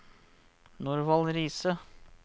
Norvald Riise